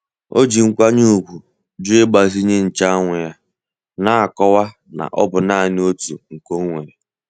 O ji nkwanye ùgwù jụ ịgbazinye nche anwụ ya, na-akọwa na ọ bụ naanị otu nke onwere.